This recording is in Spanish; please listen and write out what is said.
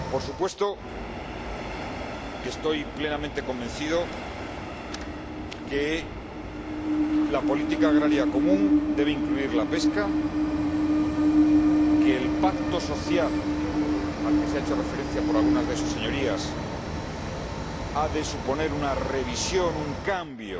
Por supuesto que estoy plenamente convencido de que la política agrícola común debe incluir la pesca y de que el pacto social, al que se ha hecho referencia por algunas de sus Señorías, ha de suponer una revisión, un cambio